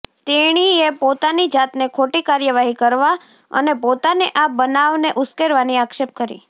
તેણીએ પોતાની જાતને ખોટી કાર્યવાહી કરવા અને પોતાને આ બનાવને ઉશ્કેરવાની આક્ષેપ કરી